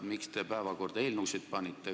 Miks te selle päevakorda panite?